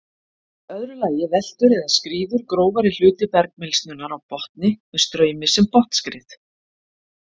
Í öðru lagi veltur eða skríður grófari hluti bergmylsnunnar á botni með straumi sem botnskrið.